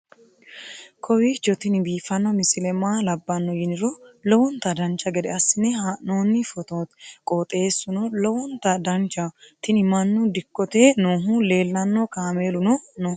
kowiicho tini biiffanno misile maa labbanno yiniro lowonta dancha gede assine haa'noonni foototi qoxeessuno lowonta danachaho. tini mannu dikkote noohu leellanno kaameeluno no